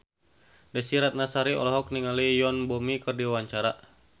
Desy Ratnasari olohok ningali Yoon Bomi keur diwawancara